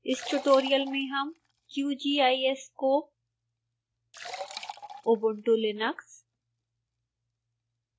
इस ट्यूटोरियल में हम qgis को